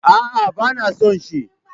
A'a, ba na son shi.